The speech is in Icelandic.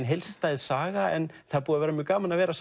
heildstæð saga en það er búið að vera mjög gaman að vera